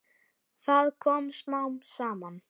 Það kom smám saman.